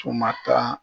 Tun ma taa